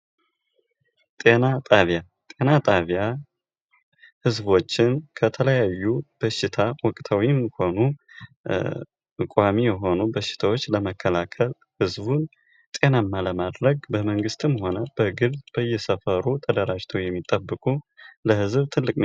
ጤናጣቢያ ጤናጣቢያ ህዝቦችን ከተለያዩ በሽታ ወቅተው የሚቆሙ ቋሚ የሆኑ በሽታዎች ለመከላከል ህዝቡን ጤናማ ለማድረግ በመንግስትም ሆነ በግል በየሰፈሩ ተደራጅተው የሚጠበቁ ለህዝብ ትልቅ ሚና።